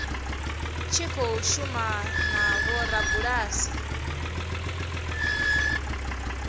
tshi khou shuma na vhorabulasi